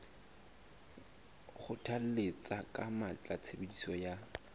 kgothalletsa ka matla tshebediso ya